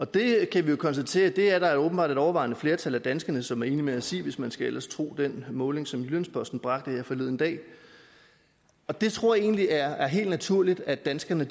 det kan vi konstatere at der åbenbart er et overvejende flertal af danskere som er enige med os i hvis man ellers skal tro den måling som jyllands posten bragte her forleden dag det tror jeg egentlig er er helt naturligt at danskerne